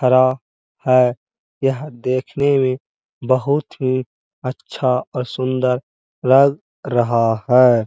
खड़ा है। यह देखने में बहोत ही अच्छा और सुंदर लग रहा है।